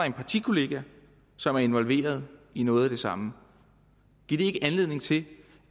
en partikollega som er involveret i noget af det samme giver det ikke anledning til